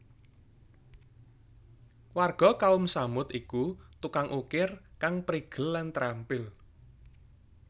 Warga Kaum Tsamud iku tukang ukir kang prigel lan trampil